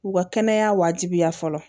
U ka kɛnɛya wajibiya fɔlɔ